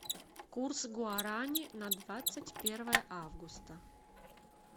курс гуарани на двадцать первое августа